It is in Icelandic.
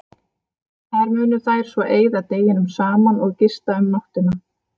Þar munu þær svo eyða deginum saman og gista um nóttina.